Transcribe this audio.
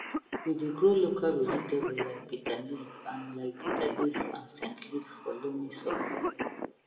we dey grow local vegetable like bitterleaf and like bitterleaf and scentleaf for loamy soil